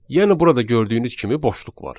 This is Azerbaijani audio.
Yəni burada gördüyünüz kimi boşluq var.